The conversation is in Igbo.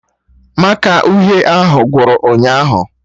Màkà uhie ahụ gwụrụ ụnyaahụ